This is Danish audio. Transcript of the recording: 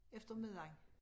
Efter middagen